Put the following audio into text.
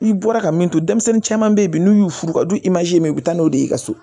I bɔra ka min to denmisɛnnin caman bɛ ye bi n'u y'u furu u ka du ye u bɛ taa n'o de ye i ka so